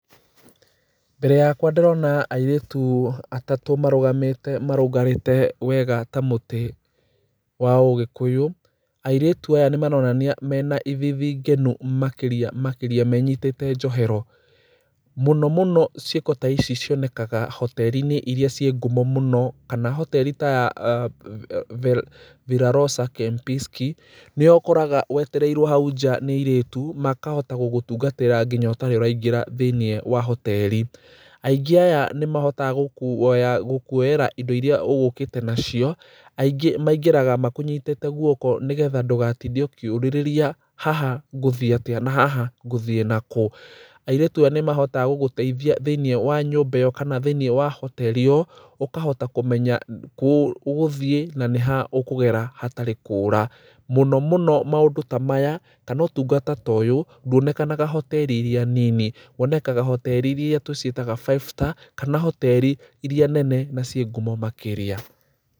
Mbere yakwa ndĩrona airĩtu atatũ marũgamĩte marũngarĩte wega ta mũtĩ wa ũgĩkuyũ. Airĩtu aya nĩ maronania mena ithithi ngenu makĩria makĩria, menyitĩte njohero. Mũno mũno ciĩko taici cionekaga hoteri-inĩ iria ciĩ ngumo mũno, kana hoteri ta ya vel, Villa Rosa Kempinski. Nĩho ũkoraga wetereirwo hau nja nĩ airĩtu makahota gũgũtungatĩra nginya ũtarĩ ũraingĩra thĩiniĩ wa hoteri. Aingĩ aya nĩ mahotaga gũkuoya, gũkuoyera indo iria ũgũkĩte nacio, aingĩ maingĩraga makũnyitĩte guoko nĩgetha ndũgatinde ũkĩũrĩrĩria haha ngũthiĩ atĩa na haha ngũthiĩ nakũ. Airĩtu aya nĩ mahotaga gũgũteithia thĩiniĩ wa nyũmba ĩyo kana thĩiniĩ wa hoteri ĩyo, ũkahota kũmenya kũũ ũgũthiĩ na nĩ ha ũkũgera hatarĩ kũra. Mũno mũno maũndũ ta maya kana ũtungata toyũ ndwonekanaga hoteri-inĩ iria nini, wonekaga hoteri iria tũciĩtaga five star, kana hoteri iria nene na ciĩ ngumo makĩria.